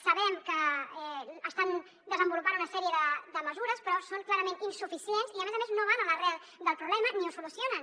sabem que estan desenvolupant una sèrie de mesures però són clarament insuficients i a més a més no van a l’arrel del problema ni el solucionen